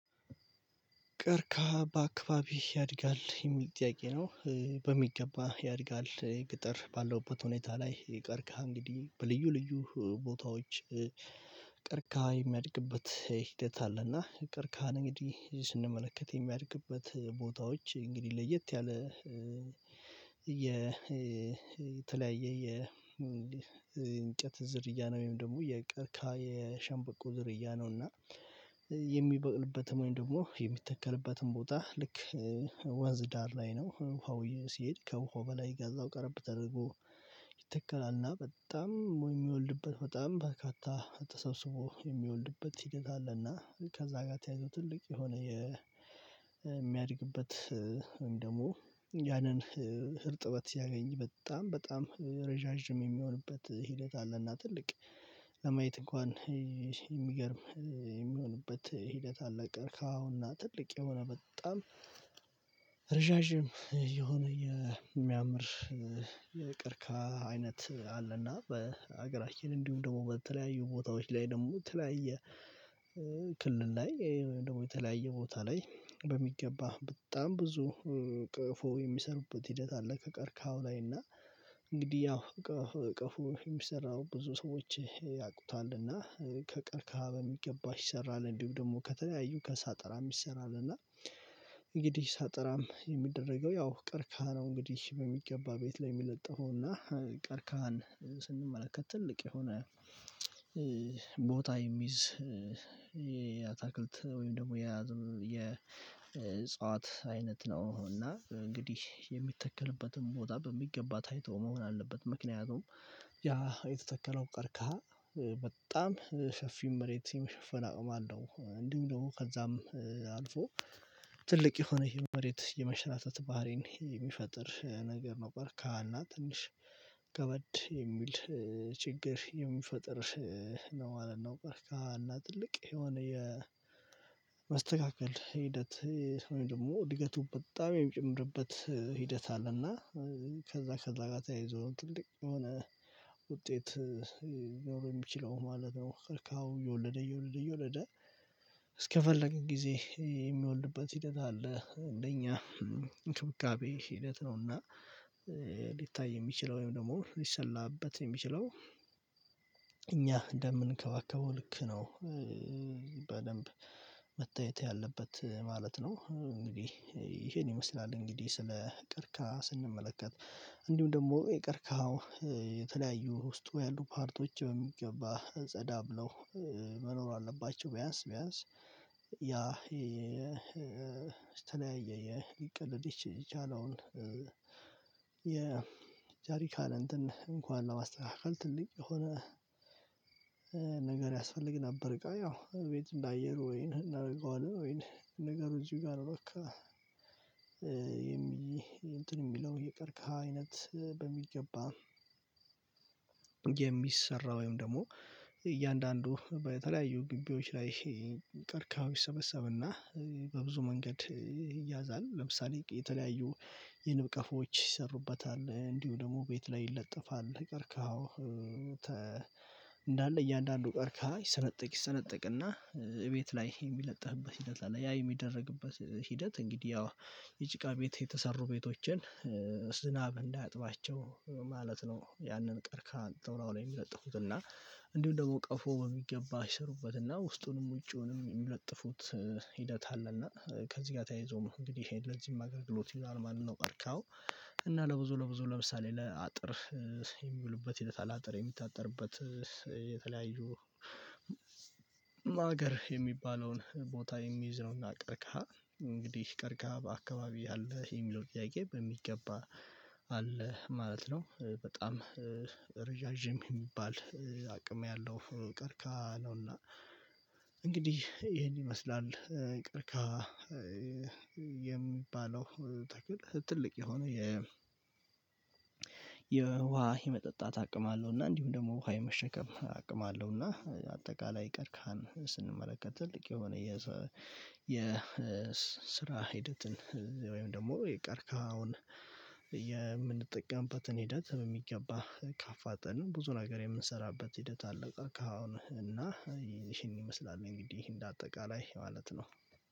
ቀርከሃ በአካባቢህ ያድጋል የሚል ጥያቄ ነው? በሚገባ ያድጋል ገጠር ባለውበት ሁኔታ ላይ ቀርከሃ እንግዲህ በልዩ ልዩ ቦታዎች። ቀርቀሃ የሚያድግበት ሂደት አለና ቀርከሃን እንግዲህ ስንመለከት የሚያድግበት ቦታዎች እንግዲህ ለየት ያለ። የተለያየ የእንጨት ዝርያ ነው ወይም ደግሞ የቀርከሃ የሸንበቆ ዝርያ ነው። እና የሚበቅልበትም ወይም ደግሞ የሚተከልበትም ቦታ ልክ ወንዝ ዳር ላይ ነው ውሃው ሲሄድ ከውሃው በላይ ከዛው ቀረብ ተደርጎ። ይተከላልና በጣም ወይ የሚወልድበት በጣም በርካታ ተሰብስቦ የሚወልድበት ሂደት አለና። ከዛ ጋር ተያይዞ ትልቅ የሆነ የሚያድግበት ወይም ደግሞ ያንን እርጥበት ሲያገኝ በጣም በጣም ረዣዥም የሚሆንበት ሂደት አለና። ትልቅ ለማየት እንኳን የሚገርም የሚሆንበት ሂደት አለ። ቀርከሃውና ትልቅ የሆነ በጣም ረዣዥም የሆነ የሚያምር የቀርከሃ አይነት አለና። በሀገራችን እንዲሁም ደግሞ በተለያዩ ቦታዎች ላይ ደግሞ የተለያየ ክልል ላይ ወይም ደግሞ የተለያየ ቦታ ላይ በሚገባ በጣም ብዙ ቀፎ የሚሰሩበት ሂደት አለ። ከቀርከሃው ላይ እና እንግዲህ ያው ቀፍ ቀፎ የሚሰራው ብዙ ሰዎች ያውቁታልና ከቀርካሃ በሚገባ ይሰራል እንዲሁም ደግሞ ከተለያዩ ከሳጠራም ይሰራል። እና እንግዲህ ሳጠራም የሚደረገው ያው ቀርከሃ ነው እንግዲህ በሚገባ ቤት ላይ የሚለጠፈው። እና ቀርከሃን ስንመለከት ትልቅ የሆነ ቦታ የሚይዝ የአታክልት ወይም ደግሞ የያዝም የዕጽዋት አይነት ነው። እና እንግዲህ የሚተከልበትን ቦታ በሚገባ ታይቶ መሆን አለበት ምክንያቱም ያ የተተከለው ቀርከሃ በጣም ሰፊም መሬት የመሸፈን አቅም አለው። እንዲሁም ደግሞ ከዛም አልፎ ትልቅ የሆነ ይሄ መሬት የመንሸራተት ባህሪን የሚፈጥር ነገር ነው። ቀርከሃ ና ትንሽ ከበድ የሚል ችግር የሚፈጥር ነው ማለት ነው። ቀርከሃ ና ትልቅ የሆነ የመስተካከል ሂደት ወይም ደግሞ እድገቱ በጣም የሚጨምርበት ሂደት አለና። ከዛ ከዛ ጋር ተያይዞ ትልቅ የሆነ ውጤት ሊናረው የሚችለው ማለት ነው። ቀርከሃው እየወለደ እየወለደ እየወለደ እስከፈለግን ጊዜ የሚወልድበት ሂደት አለ። እንደኛ እንክብካቤ ሂደት ነው። እና ሊታይ የሚችለው ወይም ደግሞ ሊሰላበት የሚችለው እኛ እንደምንከባከበው ልክ ነው በደንብ መታየት ያለበት ማለት ነው። እንግዲህ ይሄን ይመስላል እንግዲህ ስለ ቀርከሃ ስንመለከት እንዲሁም ደግሞ የቀርከሃው የተለያዩ ውስጡ ያሉ ፓርቶች በሚገባ ጸዳ ብለው መኖር አለባቸው። ቢያንስ ቢያንስ ያ የተለያየ የሊቀለድ የቻለውን የጄሪካን እንትን እንኳን ለማስተካከል ትልቅ የሆነ ነገር ያስፈልግ ነበር። እቃው ያው እቤት እንደ አየር ወይን እናደርገዋለን ወይን ነገሩ እዚህ ጋር እረካ የሚ እንትን የሚለው የቀርከሃ አይነት በሚገባ የሚሰራው ወይም ደግሞ እያንዳንዱ በተለያዩ ግቢዎች ላይ ቀርከሃው ይሰበሰብና በብዙ መንገድ ይያዛል። ለምሳሌ የተለያዩ የንብቀፎች ይሰሩበታል እንዲሁ ደግሞ ቤት ላይ ይለጠፋል ቀርካው እንዳለ እያንዳንዱ ቀርከሃ ይሰነጠቅ ይሰነጠቅና እቤት ላይ የሚለጠፍበት ሂደት አለ። ያ የሚደረግበት ሂደት እንግዲህ ያው የጭቃ ቤት የተሰሩ ቤቶችን ዝናብ እንዳያጥባቸው ማለት ነው። ያንን ቀርከሃ አምጥተው እላዩ ላይ የሚለጥፉት እና እንዲሁ ደግሞ ቀፎ በሚገባ ይሰሩበትና ውስጡንም ውጪውንም የሚለጥፉት ሂደት አለ። እና ከዚህ ጋር ተያይዞም እንግዲህ ለዚህም አገልግሎት ይውላል ማለት ነው። ቀርከሃው እና ለብዙ ለብዙ ለምሳሌ ለአጥር የሚውሉበት ሂደት አለ። አጥር የሚታጠርበት የተለያዩ ማገር የሚባለውን ቦታ የሚይዘው እና ቀርከሃ እንግዲህ ቀርከሃ በአካባቢህ አለ የሚለው ጥያቄ በሚገባ አለ ማለት ነው። በጣም ረዣዥም የሚባል አቅም ያለው ቀርከሃ ነውና። እንግዲህ ይሄን ይመስላል ቀርከሃ የሚባለው ተክል ትልቅ የሆነ የ የውሃ የመጠጣት አቅም አለው። እና እንዲሁ ደግሞ ውሃ የመሸከም አቅም አለው። እና አጠቃላይ ቀርከሃን ስንመለከት ትልቅ የሆነ የ የ ስራ ሂደትን ወይም ደግሞ የቀርከሃውን የምንጠቀምበትን ሂደት በሚገባ ካፋጠንን ብዙ ነገር የምንሰራበት ሂደት አለ። ከአሁን እና ይሄን ይመስላል እንግዲህ እንደ አጠቃላይ ማለት ነው።